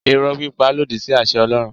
Irọ́ pípa lòdì sí àṣẹ Ọlọ́run.